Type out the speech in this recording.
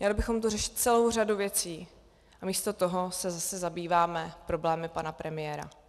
Měli bychom tu řešit celou řadu věcí a místo toho se zase zabýváme problémy pana premiéra.